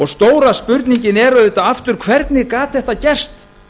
stóra spurningin er auðvitað aftur hver gat þetta gerst